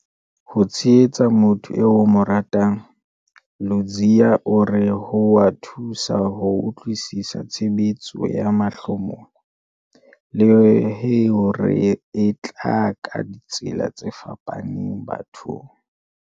Ha o tshehetsa motho eo o mo ratang, Ludziya o re ho a thusa ho utlwisisa tshebetso ya mahlomola, le hore e tla ka ditsela tse fapaneng bathong.